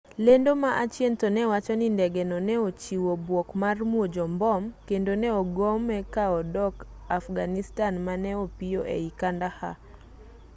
lendo ma achien to ne wacho ni ndegeno ne ochiwe bwok mar muojo mbom kendo ne ogome ka odok afghanistan ma ne opiyo ei kandahar